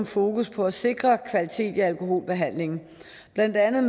fokus på at sikre kvalitet i alkoholbehandlingen blandt andet